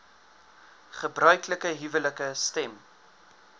gebruiklike huwelike stem